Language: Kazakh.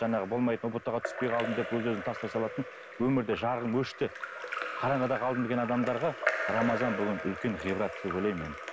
жаңағы болмайтын ұбт ға түспей қалдым деп өз өзін тастай салатын өмірде жарығым өшті қараңғыда қалдым деген адамдарға рамазан бүгін үлкен ғибрат деп ойлаймын енді